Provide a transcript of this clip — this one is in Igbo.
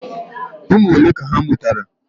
Ụmụ ole ka ha mụtara?